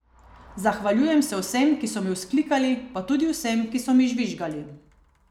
Zahvaljujem se vsem, ki so mi vzklikali, pa tudi vsem, ki so mi žvižgali.